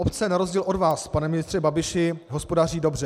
Obce, na rozdíl od vás, pane ministře Babiši, hospodaří dobře.